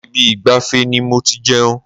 Ibi ìgbafẹ́ ni mo ti jẹun.